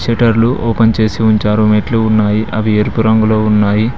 షట్టర్లు open చేసి ఉంచారు మెట్లు ఉన్నాయి అవి ఎరుపు రంగులో ఉన్నాయి.